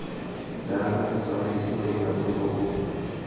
jalo motsamaisi wa direkoto o